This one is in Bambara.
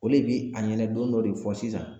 O le bi a ɲɛna don dɔ de fɔ sisan